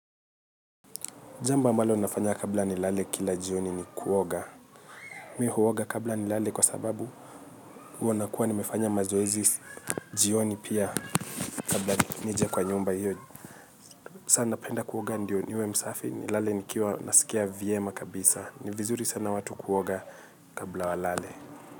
Jambo ambalo ninafanya kabla nilale kila jioni ni kuoga. Mi huoga kabla nilale kwa sababu huwa nakuwa nimefanya mazoezi jioni pia kabla nije kwa nyumba hiyo. Saa napenda kuoga ndio niwe msafi, nilale nikiwa nasikia vyema kabisa. Ni vizuri sana watu kuoga kabla walale.